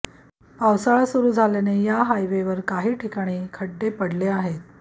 पावसाळा सुरू झाल्याने या हायवेवर काही ठिकाणी खड्डे पडले आहेत